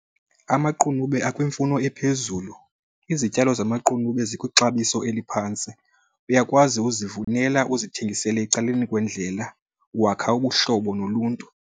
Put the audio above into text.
Amaqunube akwimfuno ephezulu. Izityalo zamaqunube zikwixabiso eliphantsi, uyakwazi uzivunela uzithengisele ecaleni kwendlela, wakha ubuhlobo noluntu.